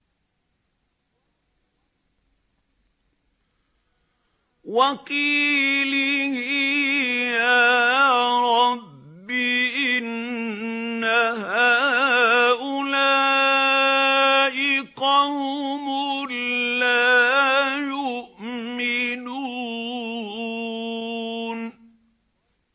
وَقِيلِهِ يَا رَبِّ إِنَّ هَٰؤُلَاءِ قَوْمٌ لَّا يُؤْمِنُونَ